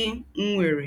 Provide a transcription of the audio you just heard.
ì̀ nwérè?